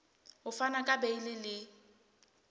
ho fana ka beile le